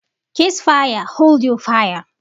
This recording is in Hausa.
Cease fire! Hold your fire.